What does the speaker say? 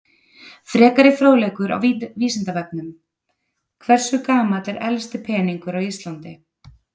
Frekari fróðleikur á Vísindavefnum: Hversu gamall er elsti peningur á Íslandi?